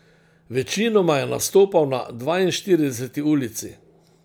Večinoma je nastopal na Dvainštirideseti ulici.